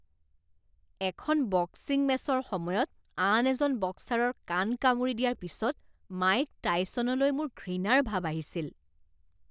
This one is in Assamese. এখন বক্সিং মেচৰ সময়ত আন এজন বক্সাৰৰ কাণ কামুৰি দিয়াৰ পিছত মাইক টাইছনলৈ মোৰ ঘৃণাৰ ভাব আহিছিল।